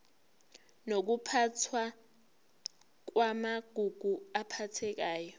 nokuphathwa kwamagugu aphathekayo